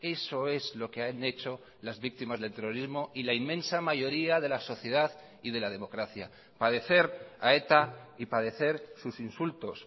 eso es lo que han hecho las víctimas del terrorismo y la inmensa mayoría de la sociedad y de la democracia padecer a eta y padecer sus insultos